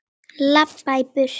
Labba í burtu.